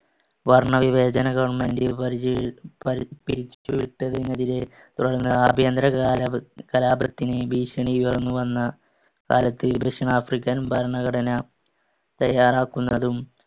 വർണ്ണവിവേചന government പ~ പിരിച്ചുവിട്ടതിനെതിരെ തുടര്‍ന്ന് ആഭ്യന്തര കാലപ~ കലാപത്തിന് ഭീഷണി ഉയർന്നുവന്ന കാലത്ത് ദക്ഷിണാഫ്രിക്കൻ ഭരണഘടന തയ്യാറാക്കുന്നതും